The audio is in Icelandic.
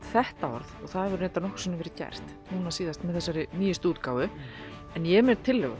þetta orð og það hefur reyndar nokkrum sinnum verið gert núna síðast með þessari nýju útgáfu en ég er með tillögu